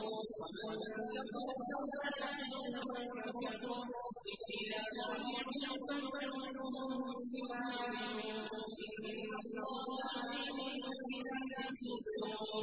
وَمَن كَفَرَ فَلَا يَحْزُنكَ كُفْرُهُ ۚ إِلَيْنَا مَرْجِعُهُمْ فَنُنَبِّئُهُم بِمَا عَمِلُوا ۚ إِنَّ اللَّهَ عَلِيمٌ بِذَاتِ الصُّدُورِ